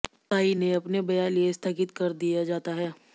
साई ने अपने बया लिए स्थगित कर दिया जाता है